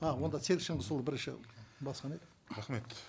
а онда серік шыңғысұлы бірінші басынан айт рахмет